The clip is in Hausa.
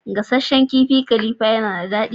Gasasshen kifin khalifa yana dadi.